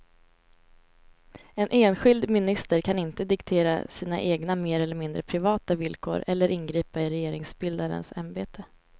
En enskild minister kan inte diktera sina egna mer eller mindre privata villkor eller ingripa i regeringsbildarens ämbete.